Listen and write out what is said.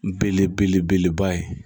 Belebeleba ye